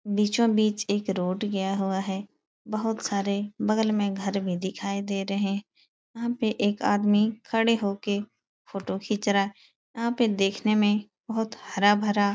बीचो बीच एक रोड गया हुआ है। बहुत सारे बगल में घर भी दिखाई दे रहे हैं। यहाँ पे एक आदमी खड़े होके फोटो खींच रहा है। यहाँ पे देखने में बहुत हरा भरा --